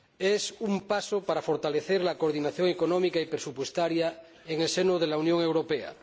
Es un paso para fortalecer la coordinación económica y presupuestaria en el seno de la Unión Europea.